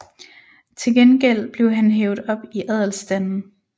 Til gengæld blev han hævet op i adelsstanden